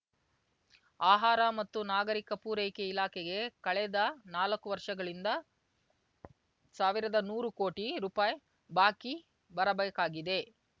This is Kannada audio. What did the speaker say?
ಆಹಾರ ಮತ್ತು ನಾಗರಿಕ ಪೂರೈಕೆ ಇಲಾಖೆಗೆ ಕಳೆದ ನಾಲ್ಕು ವರ್ಷಗಳಿಂದ ಸಾವಿರದ ನೂರು ಕೋಟಿ ರೂಪಾಯಿ ಬಾಕಿ ಬರಬೇಕಾಗಿದೆ